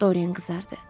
Doren qızardı.